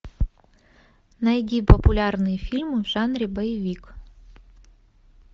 найди популярные фильмы в жанре боевик